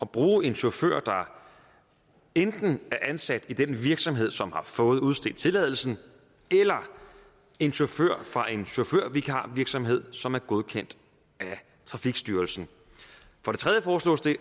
bruge en chauffør der enten er ansat i den virksomhed som har fået udstedt tilladelsen eller en chauffør fra en chaufførvikarvirksomhed som er godkendt af trafikstyrelsen for det tredje foreslås det